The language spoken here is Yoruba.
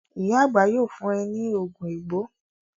Ìyá àgbà yóò fún e ní oògùn egbò.